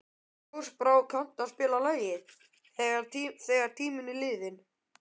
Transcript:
Ljósbrá, kanntu að spila lagið „Þegar tíminn er liðinn“?